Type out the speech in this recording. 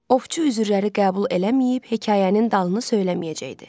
Ovçu üzürləri qəbul eləməyib, hekayənin dalını söyləməyəcəkdi.